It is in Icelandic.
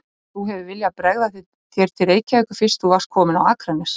Og þú hefur viljað bregða þér til Reykjavíkur fyrst þú varst kominn á Akranes?